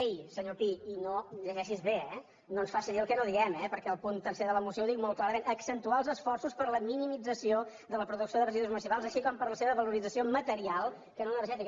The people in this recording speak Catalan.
ei senyor pi i llegeixi s’ho bé eh no ens faci dir el que no diem perquè el punt tercer de la moció ho diu molt clarament accentuar els esforços per a la minimització de la producció de residus municipals així com per a la seva valorització material que no energètica